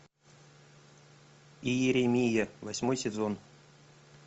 иеремия восьмой сезон